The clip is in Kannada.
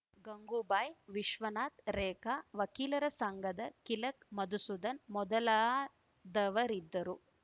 ಗಂಗೂಬಾಯ್‌ ವಿಶ್ವನಾಥ್‌ ರೇಖಾ ವಕೀಲರ ಸಂಘದ ಕಿಲಕ್ ಮಧುಸೂದನ್‌ ಮೊದಲಾದವರಿದ್ದರು